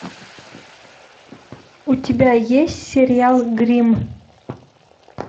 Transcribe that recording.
у тебя есть сериал гримм